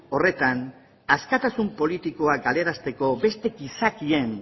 horretan askatasun politikoa galarazteko beste gizakien